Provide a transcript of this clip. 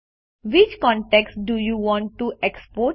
which contacts do you want to export